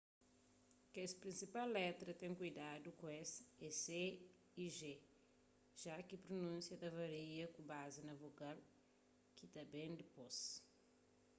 kes prinsipal letra a ten kuidadu ku es é c y g já ki prunúnsia ta varia ku bazi na vogal ki ta ben dipôs